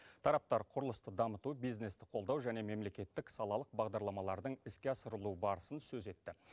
тараптар құрылысты дамыту бизнесті қолдау және мемлекеттік салалық бағдарламалардың іске асырылу барысын сөз етті